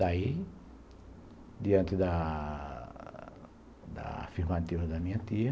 Daí, diante da da afirmativa da minha tia,